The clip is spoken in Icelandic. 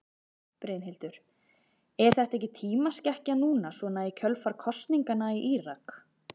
Brynhildur: Er þetta ekki tímaskekkja núna svona í kjölfar kosninganna í Írak?